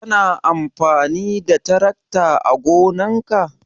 Kana amfani da tarakta ã gonan ka?